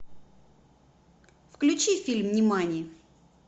включи фильм нимани